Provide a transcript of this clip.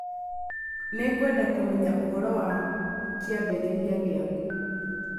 Nĩngwenda kũmenya ũhoro wa kĩambĩrĩria gĩaku.